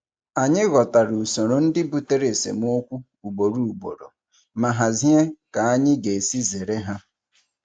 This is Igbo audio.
Anyị ghọtara usoro ndị butere esemokwu ugboro ugboro ma hazie ka anyị ga-esi zere ha.